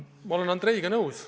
Ma olen Andreiga nõus.